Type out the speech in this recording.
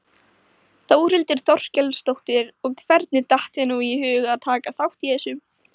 Þórhildur Þorkelsdóttir: Og hvernig datt þér nú í hug að taka þátt í þessu?